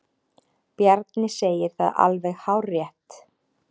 Bjarni segir það alveg hárrétt.